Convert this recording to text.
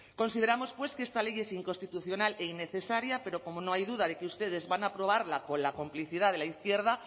consideramos pues que esta ley es inconstitucional e innecesaria pero como no hay duda de que ustedes van a aprobarla con la complicidad de la izquierda